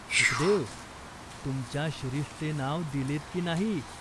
"सुखदेव, तुमच्या शिरीषचे नाव दिलेत की नाही ?